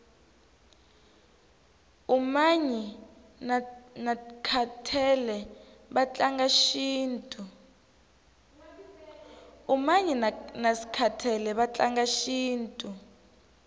umanyi naskhathele vatlanga shintu